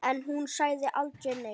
En hún sagði aldrei neitt.